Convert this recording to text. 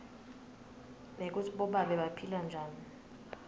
nekutsi bobabe baphila njani